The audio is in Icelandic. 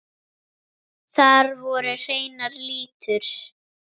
Þar voru hreinar línur.